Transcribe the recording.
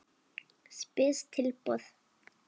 Spes tilboð.